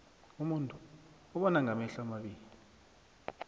umuntu ubonangamehlo amabili